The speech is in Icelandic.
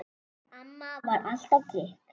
Amma var alltaf trygg.